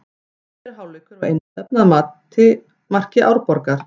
Síðari hálfleikur var einstefna að marki Árborgar.